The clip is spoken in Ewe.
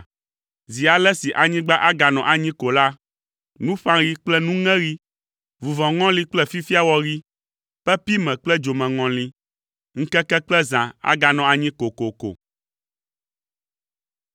Zi ale si anyigba aganɔ anyi ko la, nuƒãɣi kple nuŋeɣi, vuvɔŋɔli kple fifiawɔɣi, pepime kple dzomeŋɔli, ŋkeke kple zã aganɔ anyi kokoko.”